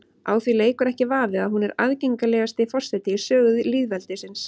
Á því leikur ekki vafi að hún er aðgengilegasti forseti í sögu lýðveldisins.